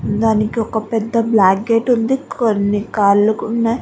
దానికి ఒక పెద్ద బ్లాక్ గేట్ ఉంది. కొన్ని కార్ లు ఉన్నాయ్.